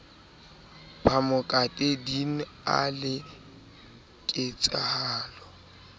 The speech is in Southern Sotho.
phamokate din a le ketsahalo